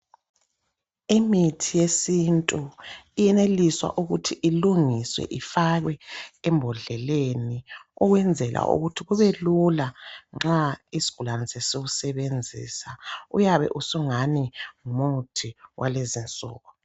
Imithi yesintu iyenelisa ukuthi ilungiswe ifakwe embodleleni ukwenzela ukuthi kubelula nxa isigulane sesiwusebenzisa uyabe usungani ngumuthi walezi insuku.